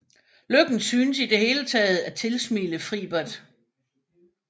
Lykken synes i det hele taget at tilsmile Fribert